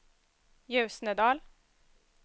Ljusnedal